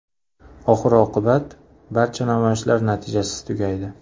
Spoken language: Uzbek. Oxir-oqibat, barcha namoyishlar natijasiz tugaydi.